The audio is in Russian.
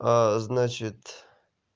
значит